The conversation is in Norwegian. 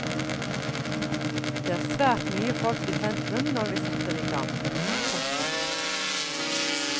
Det er svært mye folk i sentrum når vi setter igang. punktum